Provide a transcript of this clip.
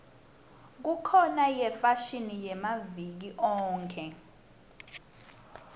kukhona yefashini yamaviki onkhe